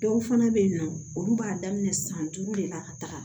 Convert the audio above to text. Dɔw fana bɛ yen nɔ olu b'a daminɛ san duuru de la ka taga